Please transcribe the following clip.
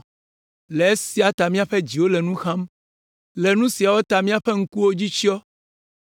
Le esia ta míaƒe dziwo le nu xam, le nu siawo ta míaƒe ŋkuwo dzi tsyɔ,